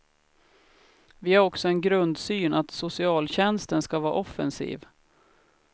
Vi har också en grundsyn att socialtjänsten ska vara offensiv.